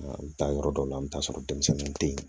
An bɛ taa yɔrɔ dɔw la i bɛ taa sɔrɔ denmisɛnninw tɛ yen